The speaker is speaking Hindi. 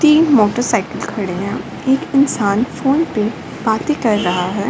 तीन मोटरसाइकिल खड़े हैं | यहाँ एक इंसान फोन पे बाते कर रहा है |